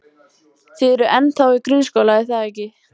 Þið eruð ennþá í grunnskóla, er það ekki?